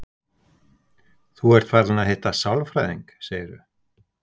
Þú ert farin að hitta sálfræðing, segirðu?